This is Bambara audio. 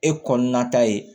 E kɔnɔna ta ye